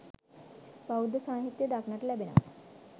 බෞද්ධ සාහිත්‍යයේ දක්නට ලැබෙනවා.